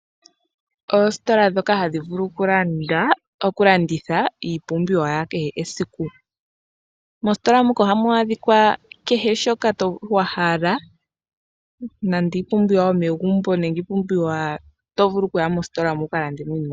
Oositola ndhoka hadhi vulu okulanditha iipumbiwa ya kehe oshilongo esiku . Moositola muka ohamu adhika kehe shoka wahala nande iipumbiwa yomegumbo. Nenge iipumbiwa tovulu oku ya mositola mo wuka lande.